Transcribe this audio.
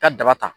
Ka daba ta